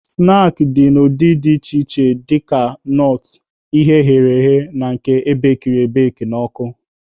Snaakị dị n'ụdị dị iche iche dịka nọọt, ihe eghere eghe na nke ebekiri ebeki n'ọkụ.